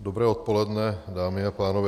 Dobré odpoledne, dámy a pánové.